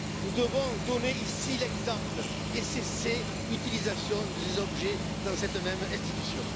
Nous devons donner ici l'exemple et cesser l'utilisation de ces objets dans cette même institution.